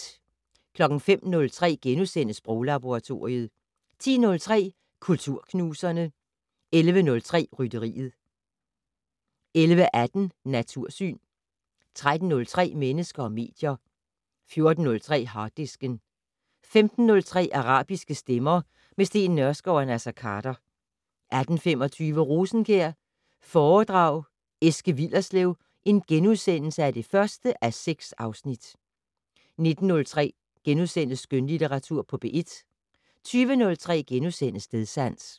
05:03: Sproglaboratoriet * 10:03: Kulturknuserne 11:03: Rytteriet 11:18: Natursyn 13:03: Mennesker og medier 14:03: Harddisken 15:03: Arabiske stemmer - med Steen Nørskov og Naser Khader 18:25: Rosenkjær foredrag Eske Willerslev (1:6)* 19:03: Skønlitteratur på P1 * 20:03: Stedsans *